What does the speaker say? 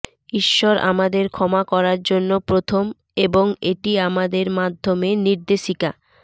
ঈশ্বর আমাদের ক্ষমা করার জন্য প্রথম এবং এটি আমাদের মাধ্যমে নির্দেশিকা